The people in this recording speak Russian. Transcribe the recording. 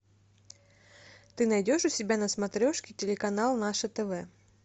ты найдешь у себя на смотрешке телеканал наше тв